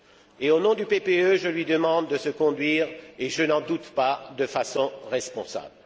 Et, au nom du PPE, je lui demande de se conduire et je n'en doute pas de façon responsable.